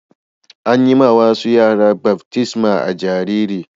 An yi ma wasu yara baftisma a'jariri.